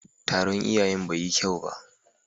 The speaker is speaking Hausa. Taron iyayen bai yi kyau ba.